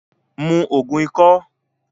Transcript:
Mu Ògùn ikọ́!